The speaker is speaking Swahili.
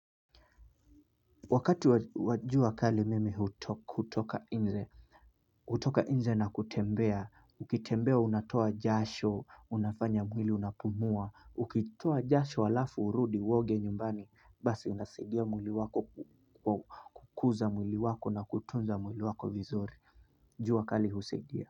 Wakati wajua kali mimi hutoka nje na kutembea, ukitembea unatoa jasho, unafanya mwili unapumua, ukitoa jasho alafu urudi uoge nyumbani, basi unasaidia mwili wako kukuza mwili wako na kutunza mwili wako vizuri, jua kali husaidia.